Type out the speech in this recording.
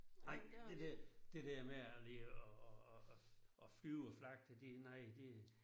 Nej det der det der med og lige og og og og og flyve og flagte det nej det